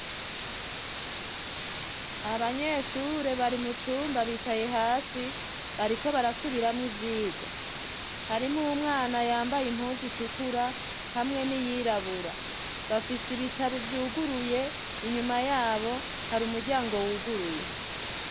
Abanyeshure bari mu cumba bicaye hasi bariko barasubiramwo ivyigwa harimwo umwana yambaye impunzu zitukura hamwe n'iyirabura bafise ibitabo vyuguruye, inyuma yabo hari umuryango wuguruye.